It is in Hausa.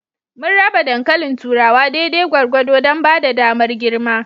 Mun raba dankalin turawa daidai gwargwado don ba da damar girma.